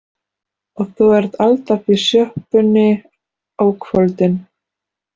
Og þú ert alltaf í sjoppunni á kvöldin.